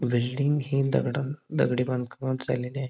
Building हि दगडान दगडी बांधकामात झालेली आहे.